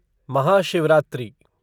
Mahashivratri